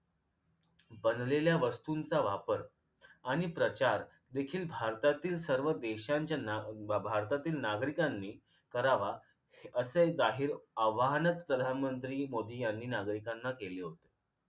बनलेल्या वस्तूंचा वापर आणि प्रचार देखील भारतातील सर्व देशांच्याना भ भारतातील नागरिकांनी करावा असे जाहीर आवाहनच प्रधानमंत्री मोदी यांनी नागरिकांना केले होते